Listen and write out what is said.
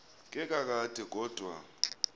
ke kakade kodwa